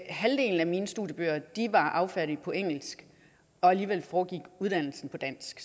halvdelen af mine studiebøger var affattet på engelsk og alligevel foregik uddannelsen på dansk